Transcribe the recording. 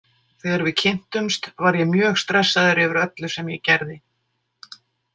Þegar við kynntumst var ég mjög stressaður yfir öllu sem ég gerði.